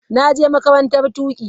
Na je makarantar tuƙi.